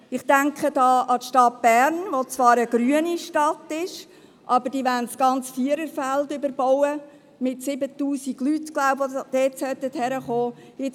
Ich denke hier an die Stadt Bern, die zwar eine grüne Stadt ist, aber das ganze Viererfeld überbauen und meines Wissens rund 7000 Leute dort wohnen lassen will.